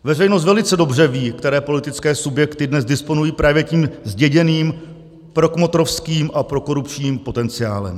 Veřejnost velice dobře ví, které politické subjekty dnes disponují právě tím zděděným prokmotrovským a prokorupčním potenciálem.